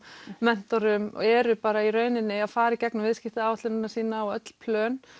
mentorum og eru bara í rauninni að fara í gegnum viðskiptaáætlunina sína og öll plön